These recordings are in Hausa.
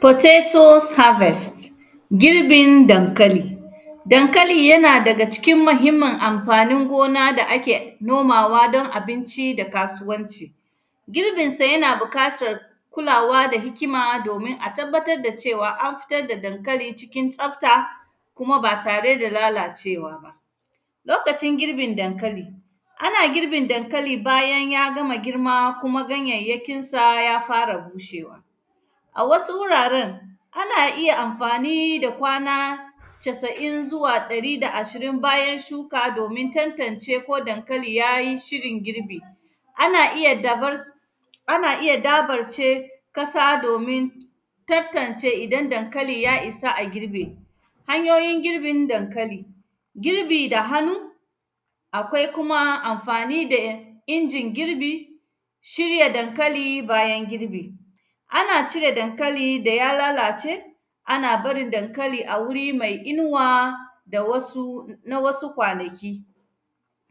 “Potatos harvest”, girbin dankali. Dankali, yana daga cikin mahimmin amfanin gona da ake nomawa don abinci da kasuwanci. Girbinsa, yana bikatar kulawa da hikima, domin a tabbatad da cewa, an fitad da dankali cikin tsafta, kuma ba tare da lalacewa ba. hikima, domin a tabbatad da cewa, an fitad da dankali cikin tsafta, kuma ba tare da lalacewa ba. Lokacin girbin dankali, ana girbin dankali bayan y agama girma, kuma ganyayyakinsa ya fara bushewa. A wasu wuraren, ana iya amfani da casa’in zuwa ɗari da ashirin bayan shuka, domin tantance ko dankali ya yi shirin girbi. Ana iya dabar; ana iya dabarce kasa, domin tattance idan dankali ya isa a girbe. Hanyoyin girbin dankali, girbi da hanu, akwai kuma amfani da ya; injin girbi. Shirya dankali bayan girbi, ana cire dankali da ya lalace, ana barin dankalia wuri mai inuwa da wasu; na wasu kwanaki.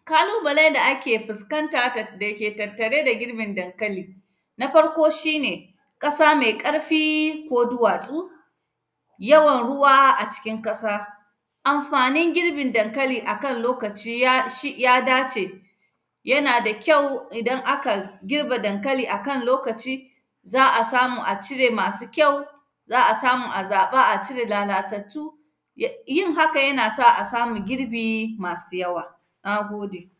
Kalubale da ake fiskanta tad; da ke tattare da girbin dankali, na farko, shi ne ƙasa mai ƙarfi ko duwatsu, yawan ruwa a cikin kasa. Amafanin girbin dankali a kan lokaci ya shi; ya dace, yana da kyau idan aka girbe dankali a kan loakci, za a samu a cire masu kyau, za a samu a zaƃa a cire lalatattu, ya; yin haka, yana sa a samu girbi masi yawa, na gode.